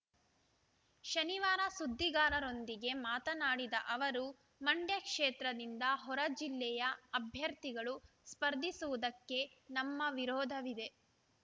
ಶನಿವಾರ ಸುದ್ದಿಗಾರರೊಂದಿಗೆ ಮಾತನಾಡಿದ ಅವರು ಮಂಡ್ಯ ಕ್ಷೇತ್ರದಿಂದ ಹೊರ ಜಿಲ್ಲೆಯ ಅಭ್ಯರ್ಥಿಗಳು ಸ್ಪರ್ಧಿಸುವುದಕ್ಕೆ ನಮ್ಮ ವಿರೋಧವಿದೆ